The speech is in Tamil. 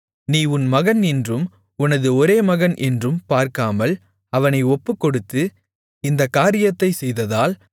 நீ உன் மகன் என்றும் உனது ஒரேமகன் என்றும் பார்க்காமல் அவனை ஒப்புக்கொடுத்து இந்தக் காரியத்தைச் செய்ததால்